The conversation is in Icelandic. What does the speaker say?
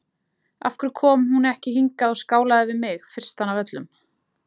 Af hverju kom hún ekki hingað og skálaði við mig, fyrstan af öllum?